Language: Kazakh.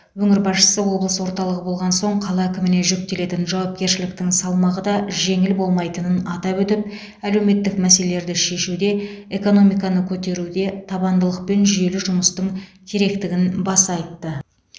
өңір басшысы облыс орталығы болған соң қала әкіміне жүктелетін жауапкершіліктің салмағы да жеңіл болмайтынын атап өтіп әлеуметті мәселелерді шешуде экономиканы көтеруде табандылық пен жүйелі жұмыстың керектігін баса айтты